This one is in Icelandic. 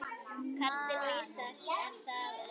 Karlinn vísast er þar enn.